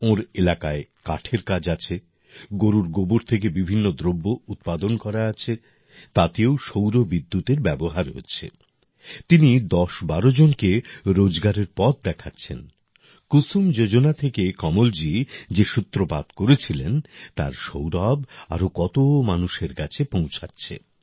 ওঁর এলাকায় কাঠের কাজ আছে গরুর গোবর থেকে বিভিন্ন দ্রব্য উৎপাদন করা আছে তাতেও সৌর বিদ্যুৎএর ব্যবহার হচ্ছে তিনি ১০১২ জনকে রোজগারের পথ দেখাচ্ছেন কুসুম যোজনা থেকে কমলজী যে সূত্রপাত করেছিলেন তার সৌরভ আরো কত মানুষের কাছে পৌঁছাচ্ছে